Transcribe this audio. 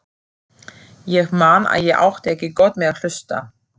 Ég man að ég átti ekki gott með að hlusta.